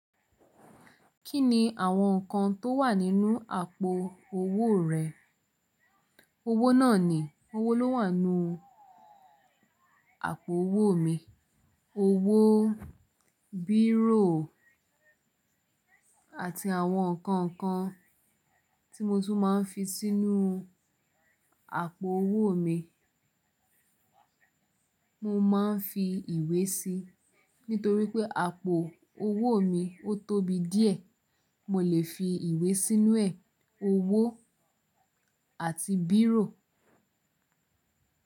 Kí ni àwọn nǹkan tó wà nínú àpò owó rẹ? Owó náà ni, owó ló wà nínú àpò owó mi. Owó, bírò àti àwọn nǹkan kan tí mo tún máa ń fi sínú àpò owó mi. Mo máa ń fi ìwé síi nítorí pé àpò owó mi ó tóbi díẹ̀. Mo lè fi ìwé sínú ẹ̀, owó àti bírò.